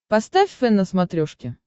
поставь фэн на смотрешке